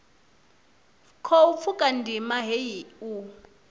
khou pfuka ndima heyi u